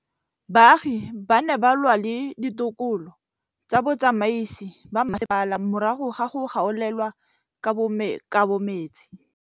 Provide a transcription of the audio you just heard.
Baagi ba ne ba lwa le ditokolo tsa botsamaisi ba mmasepala morago ga go gaolelwa kabo metsi